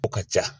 O ka ca